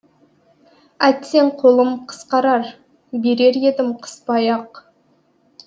әттең қолым қысқарар берер едім қыспай ақ